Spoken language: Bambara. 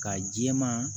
Ka jɛman